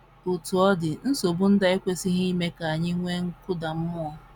Otú ọ dị, nsogbu ndị a ekwesịghị ime ka anyị nwee nkụda mmụọ.